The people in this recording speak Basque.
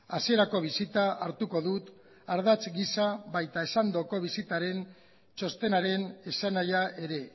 hasierako bisita hartuko dut ardatz gisa baita esandako bisitaren txostenaren esanahia ere